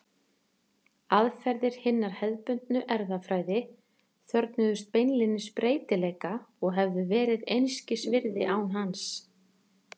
Aðferðir hinnar hefðbundnu erfðafræði þörfnuðust beinlínis breytileika og hefðu verið einskis virði án hans.